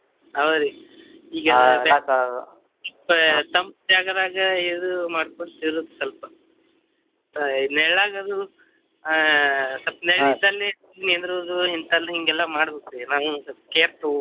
ಹೌದ್ರಿ ಈಗ ಎಲ್ಲಾ ತಂಪ್ ಜಾಗದ್ಯಾಗ ಇದು ಮಾಡ್ಕೊಂತ ಇರುದು ಸ್ವಲ್ಪ ಮತ್ತ ನೆರಳಾಗದು ಅಹ್ ಸ್ವಲ್ಪ ನೆರಳ್ ಇದ್ದಲ್ಲೆ ನಿಂದ್ರುದು ಇಂತದ್ ಹಿಂಗೆಲ್ಲಾ ಮಾಡ್ಬೇಕ್ರಿ ನಾವ್ ಒಂದ್ ಸ್ವಲ್ಪ care ತಗೋಬೇಕ್ರಿ .